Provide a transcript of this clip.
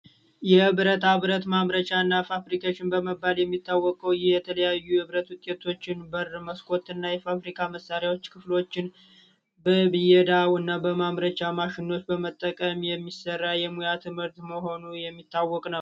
የብረታ ብረት ማምረቻና ፋብሪካ በመባል የሚታወቀው የተለያዩ ልዩ የብረት ውጤቶችን በር፣ መስኮትና ፋብሪካ መሳሪያዎችን፣ ክፍሎችን በይደው እና ማምረቻ ማሽኖችን በመጠቀም የሚሰራ የሙያ ትምህርት መሆኑ የሚታወቅ ነው።